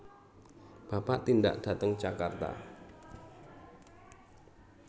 Bapak tindak dhateng Jakarta